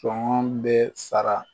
Sɔngɔ be sara